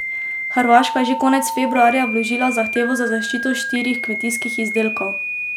Hrvaška je že konec februarja vložila zahtevo za zaščito štirih kmetijskih izdelkov.